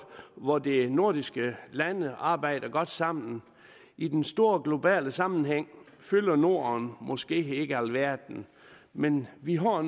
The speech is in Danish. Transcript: hvor de nordiske lande arbejder godt sammen i den store globale sammenhæng fylder norden måske ikke alverden men vi har